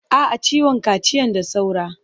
A'a, ciwon kaciyan da saura.